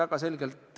Aitäh!